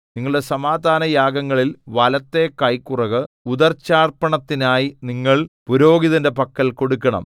നിങ്ങളുടെ സമാധാനയാഗങ്ങളിൽ വലത്തെ കൈക്കുറക് ഉദർച്ചാർപ്പണത്തിനായി നിങ്ങൾ പുരോഹിതന്റെ പക്കൽ കൊടുക്കണം